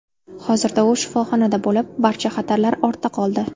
Hozirda u shifoxonada bo‘lib, barcha xatarlar ortda qoldi.